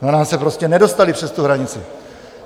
Za nás se prostě nedostali přes tu hranici.